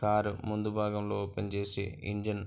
car ముందు భాగం లో ఓపెన్ చేసి ఇంజిన్ --